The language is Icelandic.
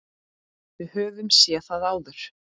Við höfum séð það áður.